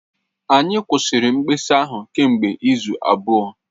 Anyị kwụsịrị mkpesa ahụ kemgbe izu abụọ